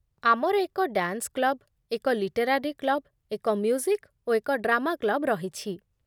ଆମର ଏକ dance club, ଏକ ଲିଟେରାରି କ୍ଲବ୍, ଏକ ମ୍ୟୁଜିକ୍ ଓ ଏକ ଡ୍ରାମା କ୍ଲବ୍ ରହିଛି